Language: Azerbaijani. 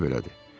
Məsələ belədir.